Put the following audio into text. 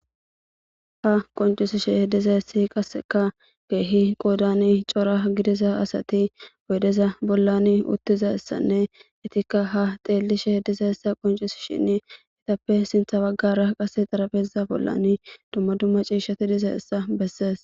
ha qoncisishe h diza essi qasseka geehi qoodani cora gidiza asati boydeza bollan uttiza issanne itikka ha xeellishe diza essa qoncis shinn itappe sintha baggara qase xarabeza bollan dumma dumma ciishshati diza issa bessees